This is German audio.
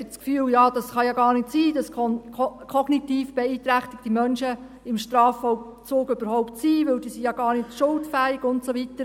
Vielleicht haben Sie das Gefühl, es könne ja gar nicht sein, dass kognitiv beeinträchtigte Menschen überhaupt im Strafvollzug sind, weil diese ja gar nicht schuldfähig seien und so weiter.